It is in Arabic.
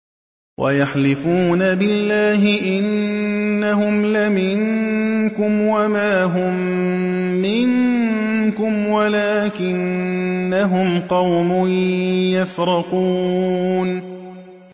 وَيَحْلِفُونَ بِاللَّهِ إِنَّهُمْ لَمِنكُمْ وَمَا هُم مِّنكُمْ وَلَٰكِنَّهُمْ قَوْمٌ يَفْرَقُونَ